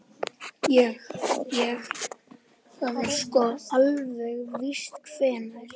Ég. ég. það er sko. ekki alveg víst hvenær.